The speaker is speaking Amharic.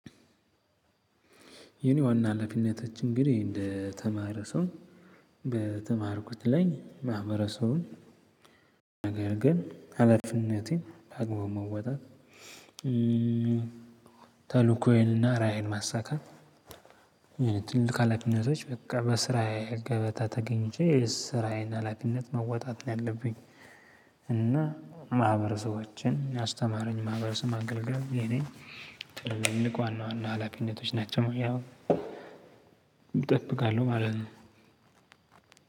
የኔ ዋና ሀላፊነቶች እንግዲህ እንደተማረ ሰው በተማርኩት ላይ ማህበረሰቡን ነገር ግን ሀላፊነቴን በአግባቡ መወጣት። ተልኮዬንና ራዕዬን ማሳካት። ትልቅ ሀላፊነቶች በቃ በስራዬ ገበታ ተገኝቼ ስራዬን ሀላፊነት መወጣት ነው ያለብኝ። እና ማህበረሰቦችን ያስተማረኝ ማህበረሰብ ማገልገል የኔ ትልቅ ዋና ዋና ሀላፊነቶች ናቸው። እጠብቃለሁ ማለት ነው።